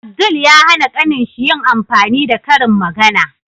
Abdul ya hAna kanin shi yin amfani da karin magAna